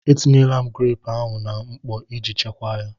E tinyela m greepụ ahụ na mkpọ iji chekwaa ya.